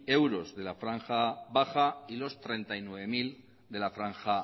euros de la franja baja y de los treinta y nueve mil de franja